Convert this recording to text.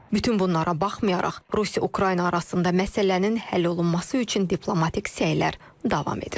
Bütün bunlara baxmayaraq, Rusiya-Ukrayna arasında məsələnin həll olunması üçün diplomatik səylər davam edir.